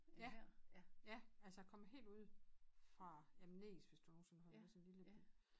Ja ja altså jeg kommer helt ude fra jamen Nees hvis du nogensinde har været sådan en lille by